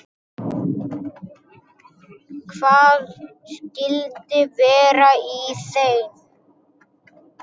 Hvað skyldi vera í þeim?